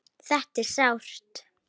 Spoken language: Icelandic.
Þetta er sárt.